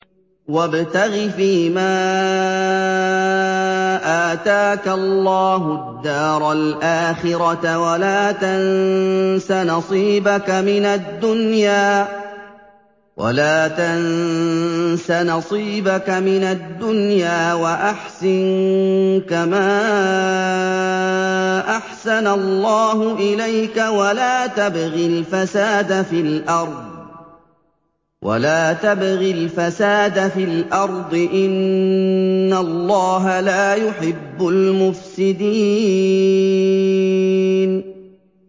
وَابْتَغِ فِيمَا آتَاكَ اللَّهُ الدَّارَ الْآخِرَةَ ۖ وَلَا تَنسَ نَصِيبَكَ مِنَ الدُّنْيَا ۖ وَأَحْسِن كَمَا أَحْسَنَ اللَّهُ إِلَيْكَ ۖ وَلَا تَبْغِ الْفَسَادَ فِي الْأَرْضِ ۖ إِنَّ اللَّهَ لَا يُحِبُّ الْمُفْسِدِينَ